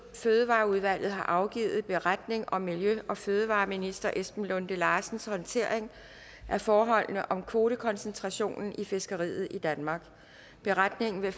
fødevareudvalget har afgivet beretning om miljø og fødevareminister esben lunde larsens håndtering af forholdene om kvotekoncentrationen i fiskeriet i danmark beretningen vil